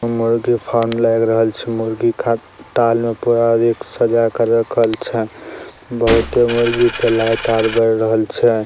मुर्गी फार्म लग रहेल छे| मुर्गी का टाल में पूरा देख सजा के रखल छे| बहुते मुर्गी छे लाइट आर बर रहल छे|